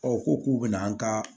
u ko k'u bɛna an ka